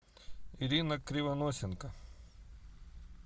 ирина кривоносенко